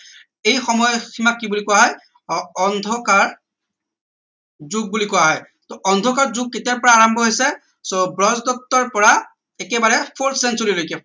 এই সময় সিমাক কি বুলি কোৱা হয় অ অন্ধকাৰ যুগ বুলি কোৱা হয় টো অন্ধকাৰ যুগ কেতিয়াৰ পৰা আৰাম্ভ হৈছে so ব্ৰজদত্তৰ পৰা একেবাৰে full century লৈকে